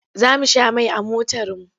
Za mu sha mai a motarmu.